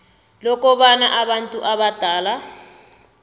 lokobana abantu abadala